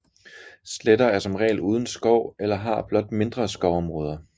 Sletter er som regel uden skov eller har blot mindre skovområder